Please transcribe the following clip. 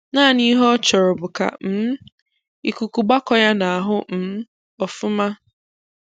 Naanị ihe ọ chọrọ bụ ka um ịkụkụ gbákọọ ya n'ahu um ọfụmá